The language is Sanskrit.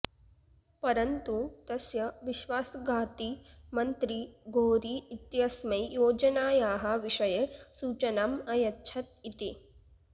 परन्तु तस्य विश्वासघाती मन्त्री घोरी इत्यस्मै योजनायाः विषये सूचनाम् अयच्छत् इति